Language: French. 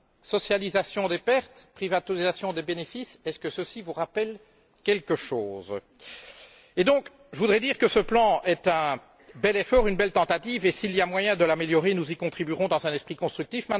Socialisation des pertes, privatisation des bénéfices, cela vous rappelle t il quelque chose? Je voudrais donc dire que ce plan est un bel effort, une belle tentative, et s'il y a moyen de l'améliorer, nous y contribuerons dans un esprit constructif.